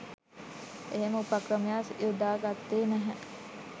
එහෙම උපක්‍රමයක් යොදා ගත්තේ නැහැ